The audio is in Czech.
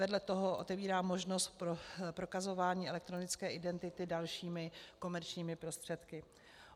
Vedle toho otevírá možnost pro prokazování elektronické identity dalšími komerčními prostředky.